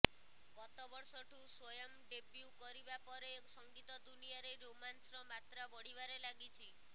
ଗତବର୍ଷଠୁ Swayam debut କରିବା ପରେ ସଙ୍ଗୀତ ଦୁନିଆରେ ରୋମାନ୍ସର ମାତ୍ରା ବଢ଼ିବାରେ ଲାଗିଛି